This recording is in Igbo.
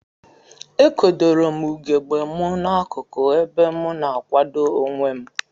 Ekodorom ugegbe mu na akuku ebe mu na akwado onwem.